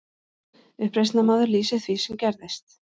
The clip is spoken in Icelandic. Uppreisnarmaður lýsir því sem gerðist